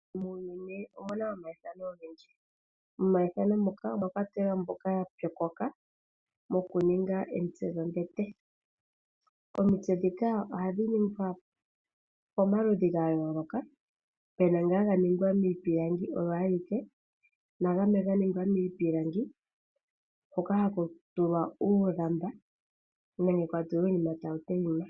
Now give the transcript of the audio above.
Muuyuni omu na omaithano ogendji. Momaithano moka omwa kwatelwa mboka ya pyokoka okuninga omitse dhombete. Omitse ndhika ohadhi ningwa pamaludhi ga yooloka, pu na ngoka ga ningwa miipilangi oyo ayike nagamwe ga ningwa miipilangi hoka haku tulwa oolamba nenge uunima tawu tayima.